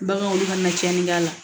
Baganw ka na tiɲɛni kɛ la